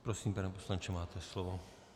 Prosím, pane poslanče, máte slovo.